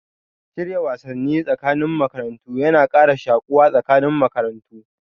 Shirya wasanni tsakanin makarantu yana kara shuƙuwa tsakanin makarantu